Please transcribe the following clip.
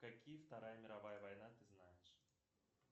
какие вторая мировая война ты знаешь